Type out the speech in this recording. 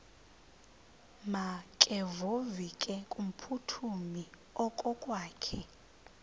makevovike kumphuthumi okokwakhe